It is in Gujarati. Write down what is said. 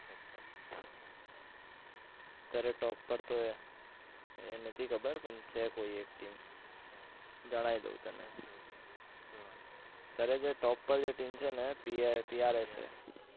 અત્યારે top પર તો એ એ નથી ખબર પણ છે કોઈ એક team ગણાઇ દઉં તને અત્યારે જે top પર જે team છે ને PRA છે.